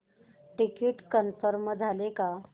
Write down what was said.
ticket confirm झाले का